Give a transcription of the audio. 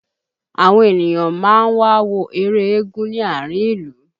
Àwọn ènìyàn máa ń wà ń wo eré eégún ní àárín ìlú